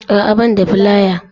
A'a ban da filaya